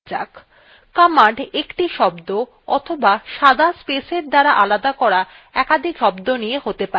commands একটি শব্দ অথবা সাদা spaces দ্বারা আলাদা করা একাধিক শব্দ নিয়ে হতে পারে